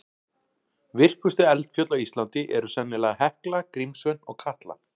Virkustu eldfjöll á Íslandi eru sennilega Hekla, Grímsvötn og Katla.